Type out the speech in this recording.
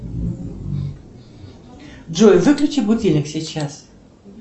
джой выключи будильник сейчас